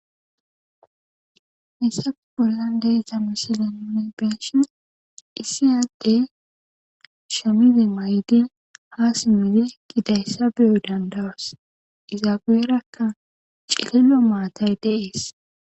Hessa bollan deesa misilenune beenshin isiyadey shamize maydin ha simmidi gidayssa biyoy dandawas izaabeerakka ciqilo maatay deees.